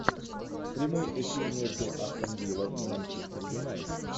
прямой эфир между астон вилла и манчестер юнайтед